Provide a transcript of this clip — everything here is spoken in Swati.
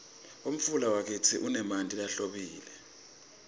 umfula wakitsi unemanti lahlobile